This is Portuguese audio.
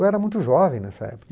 Eu era muito jovem nessa época.